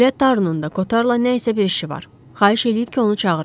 Elə Tarnun da Kotarla nəysə bir işi var, xahiş eləyib ki, onu çağırım.